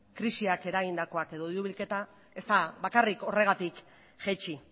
krisiak eragindakoa edo diru bilketa ez da bakarrik horregatik jaitsi